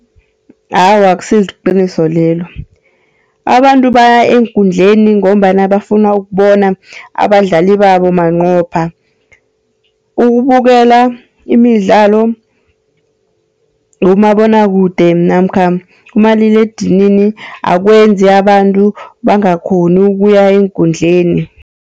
Awa, akusiliqiniso lelo. Aabantu baya eenkundleni ngombana bafuna ukubona abadlali babo manqopha. Ukubukela imidlalo kumabonwakude namkha kumaliledinini akwenzi abantu bangakghoni ukuya eenkundleni.